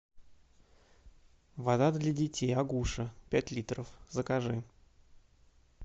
вода для детей агуша пять литров закажи